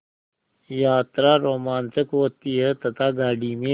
यात्रा रोमांचक होती है तथा गाड़ी में